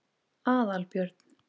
Aðalbjörn